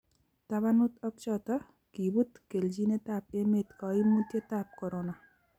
tabanut ak choto, kibut kelchinetab emet kaimutietab korona